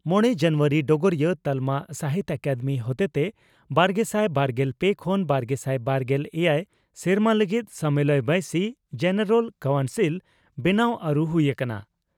ᱢᱚᱲᱮ ᱡᱟᱱᱩᱣᱟᱨᱤ (ᱰᱚᱜᱚᱨᱤᱭᱟᱹ) ᱺ ᱛᱟᱞᱢᱟ ᱥᱟᱦᱤᱛᱭᱚ ᱟᱠᱟᱫᱮᱢᱤ ᱦᱚᱛᱮᱛᱮ ᱵᱟᱨᱜᱮᱥᱟᱭ ᱵᱟᱨᱜᱮᱞ ᱯᱮ ᱠᱷᱚᱱ ᱵᱟᱨᱜᱮᱥᱟᱭ ᱵᱟᱨᱜᱮᱞ ᱮᱭᱟᱭ ᱥᱮᱨᱢᱟ ᱞᱟᱹᱜᱤᱫ ᱥᱟᱢᱮᱞᱟᱭ ᱵᱟᱹᱭᱥᱤ (ᱡᱮᱱᱮᱨᱟᱞ ᱠᱟᱣᱱᱥᱤᱞ) ᱵᱮᱱᱟᱣ ᱟᱹᱨᱩ ᱦᱩᱭ ᱟᱠᱟᱱᱟ ᱾